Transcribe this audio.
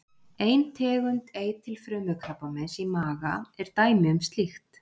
ein tegund eitilfrumukrabbameins í maga er dæmi um slíkt